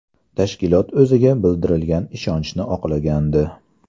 Tashkilot o‘ziga bildirilgan ishonchi oqlagandi.